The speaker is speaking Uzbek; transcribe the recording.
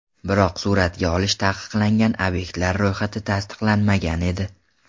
Biroq suratga olish taqiqlangan obyektlar ro‘yxati tasdiqlanmagan edi.